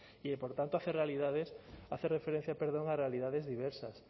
y por tanto hace realidades hace referencia perdón a realidades diversas